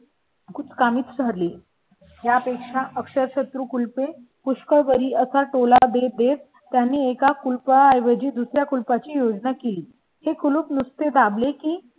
कुचकामी झाली यापेक्षा अक्षर शत्रू कुल पे पुष्कळ बरी असा टोला देते. त्यांनी एका कुल का ऐवजी दुसर् या कुलपा ची योजना केली हे कुलूप नसते दाबले की